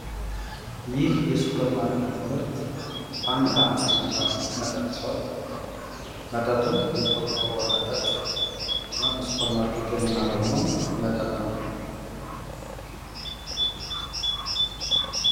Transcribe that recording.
ይህ የሱፐር ማርኬት ምርት ፈንታ የሚባል መጠጥ ሲሆን መጠጡም የቆርቆሮ መጠጥ እና በሱፐርማርኬት የምናገኘው መጠጥ ነው።